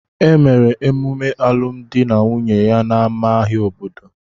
Emere emume alụmdi na nwunye ya n'ámá ahịa obodo